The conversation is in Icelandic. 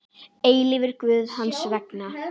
eilífur Guð hans vegna.